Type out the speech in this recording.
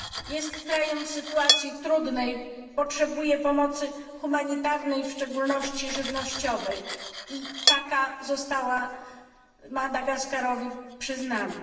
Jest krajem w sytuacji trudnej, potrzebuje pomocy humanitarnej, w szczególności żywnościowej, i taka została Madagaskarowi przyznana.